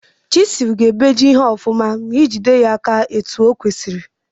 Chisul ga ebeji ihe ọfụma ma ijide ya ka osi kwesi.